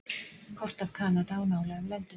kort af kanada og nálægum löndum